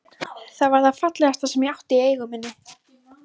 Það var það fallegasta sem ég átti í eigu minni.